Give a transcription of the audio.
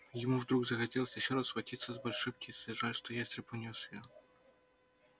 ему вдруг захотелось ещё раз схватиться с большой птицей жаль что ястреб унёс её